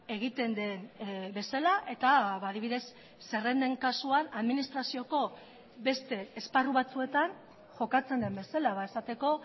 egiten den bezala eta adibidez zerrenden kasuan administrazioko beste esparru batzuetan jokatzen den bezala esateko